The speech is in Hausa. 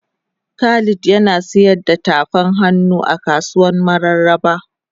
Khalid Yana sayar da tafan hannu a kasuwan mararaba.